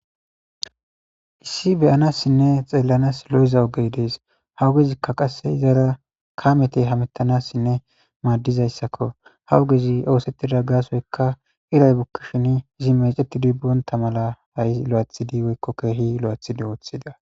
Issi beyanasinne xelanass lo'iza ogey des ha ogezikka qas izara kammeti hamutanassinne madizayissakko ha ogezi osetida gassoyikka iray bukishin izi mecetidi bonta mala ha'i kehi lo'eththidi oththida